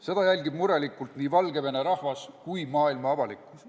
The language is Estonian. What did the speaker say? Seda jälgib murelikult nii Valgevene rahvas kui ka maailma avalikkus.